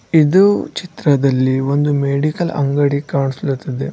ಇದು ಚಿತ್ರದಲ್ಲಿ ಒಂದು ಮೆಡಿಕಲ್ ಅಂಗಡಿ ಕಾಣಿಸ್ಲಾತ್ತಿದೆ.